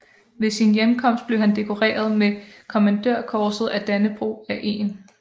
Ved sin hjemkomst blev han dekoreret med Kommandørkorset af Dannebrog af 1